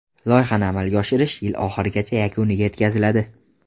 Loyihani amalga oshirish yil oxirigacha yakuniga yetkaziladi.